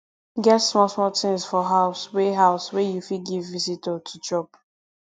get small small things for house wey house wey you fit give visitor to chop